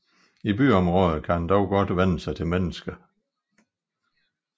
I byområder kan den dog godt vænne sig til mennesker